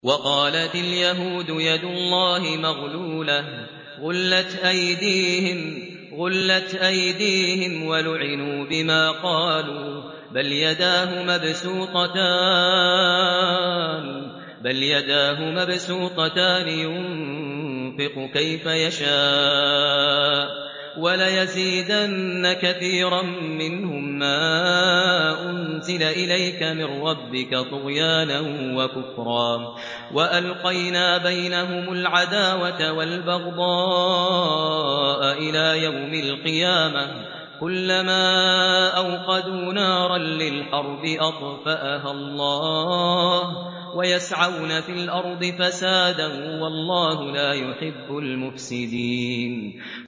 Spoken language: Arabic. وَقَالَتِ الْيَهُودُ يَدُ اللَّهِ مَغْلُولَةٌ ۚ غُلَّتْ أَيْدِيهِمْ وَلُعِنُوا بِمَا قَالُوا ۘ بَلْ يَدَاهُ مَبْسُوطَتَانِ يُنفِقُ كَيْفَ يَشَاءُ ۚ وَلَيَزِيدَنَّ كَثِيرًا مِّنْهُم مَّا أُنزِلَ إِلَيْكَ مِن رَّبِّكَ طُغْيَانًا وَكُفْرًا ۚ وَأَلْقَيْنَا بَيْنَهُمُ الْعَدَاوَةَ وَالْبَغْضَاءَ إِلَىٰ يَوْمِ الْقِيَامَةِ ۚ كُلَّمَا أَوْقَدُوا نَارًا لِّلْحَرْبِ أَطْفَأَهَا اللَّهُ ۚ وَيَسْعَوْنَ فِي الْأَرْضِ فَسَادًا ۚ وَاللَّهُ لَا يُحِبُّ الْمُفْسِدِينَ